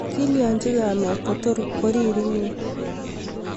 kilyachi kamet kotor koriri inye